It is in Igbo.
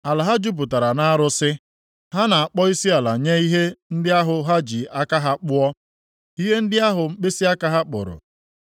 Ala ha jupụtara nʼarụsị, ha na-akpọ isiala nye ihe ndị ahụ ha ji aka ha kpụọ, ihe ndị ahụ mkpịsịaka ha kpụrụ.